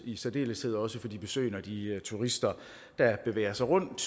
i særdeles ved også for de besøgende og de turister der bevæger sig rundt